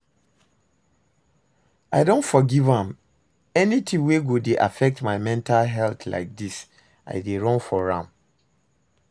I don forgive am. Anything wey go dey affect my mental health lyk dis I dey run from am.